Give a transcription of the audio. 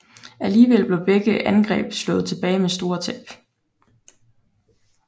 Alligevel blev begge angreb slået tilbage med store tab